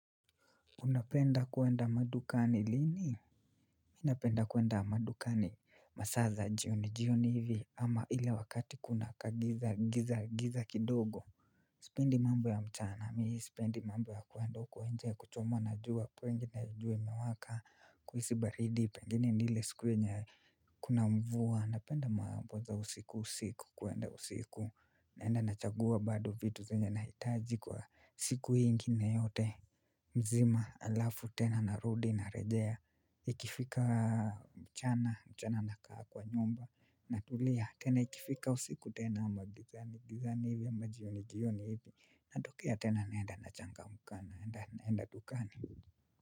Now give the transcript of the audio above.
Unapenda kuenda madukani lini? Mi napenda kuenda madukani masa za jioni jioni hivi ama ile wakati kuna kagiza giza giza kidogo. Sipendi mambo ya mchana mimi sipendi mambo ya kuenda huko nje kuchomwa na jua kwengi na jua imewaka kuhisi baridi pengine ni ile siku yenye kuna mvua napenda mambo za usiku usiku kwenda usiku naenda nachagua bado vitu zenye nahitaji kwa siku ingine yote. Mzima alafu tena narudi narejea ikifika mchana mchana na kaa kwa nyumba na tulia tena ikifika usiku tena ama gizani gizani hivyo majioni jioni hivyo natokea tena naenda nachangamka na naenda dukani.